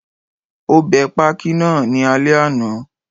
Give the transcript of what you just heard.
Ó bẹ pákí náà ní alẹ́ àná